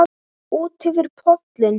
Útyfir pollinn